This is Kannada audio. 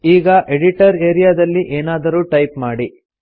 ಈಗ ಎಡಿಟರ್ ಆರಿಯಾ ದಲ್ಲಿ ಏನಾದರೂ ಟೈಪ್ ಮಾಡಿ